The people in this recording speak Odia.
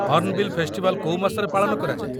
ହର୍ଣ୍ଣବିଲ୍ ଫେଷ୍ଟିଭାଲ୍ କୋଉ ମାସରେ ପାଳନ କରାଯାଏ?